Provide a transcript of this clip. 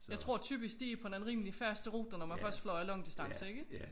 Jeg tror typisk de på en rimelig fast rute når først man flyver langdistance ikke